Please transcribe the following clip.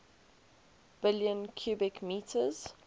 billion cubic meters